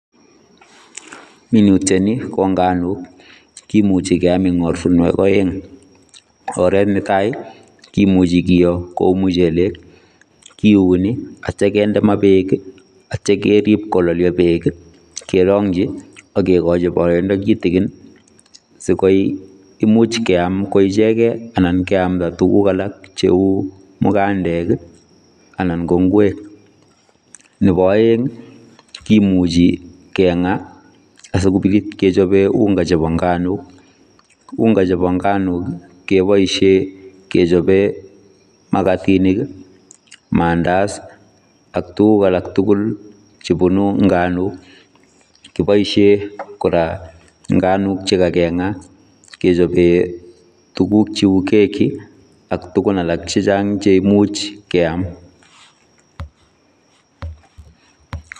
Minutiat nii ko nganook kimuchei keyaam en ortinweek aeng ,oret ne tai kimuchei keyoo kouu muchelek kiunee ak yeityaa kindee maa beek ak yeityaa keriib kolalyaa beek ii keragyii ak kegochii baraindaa kitikiin sikoek imuuch keyaam ko ichegeet ana keyamdaa tuguuk alaak che uu mugandeek ii anan ko ngweek ,nebo aeng ii kimuchei kengaa asikobiit kechapeen ungaa chebo nganook ,unga chebo nganook ii kebaisheen kechapeen magatiniik ii mandazi ak tuguuk alaak tugul chebunuu nganook, kibaisheen kora nganook chekakengaa kechapeen tuguuk che uu kekii ak tuguuk alaak chechaang cheimuuch keyaam .